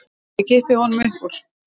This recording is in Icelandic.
Og ég kippi honum upp úr.